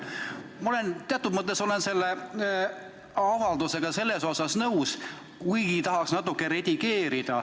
Ma olen teatud mõttes selle avaldusega nõus, kuigi tahaks natuke redigeerida.